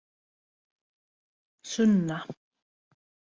Sunna